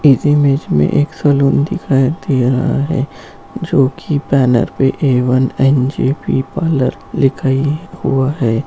इस इमेज में एक सैलून दिखाई दे रहा है जो की बैनर पर इ ऑन एच.पी पार्लर दिखाइए हुआ है।